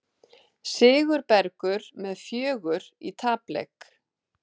Sigurbergur með fjögur í tapleik